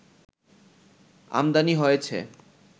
আমদানি হয়েছে